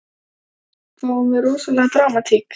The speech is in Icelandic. Fáum við rosalega dramatík?